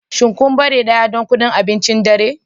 Shin kun bare daya don abincin dare?